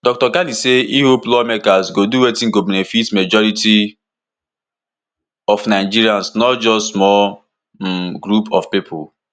dr kani say e hope lawmakers go do wetin go benefit majority of nigerians not just small um group of pipo